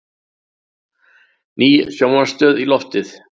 Ný sjónvarpsstöð í loftið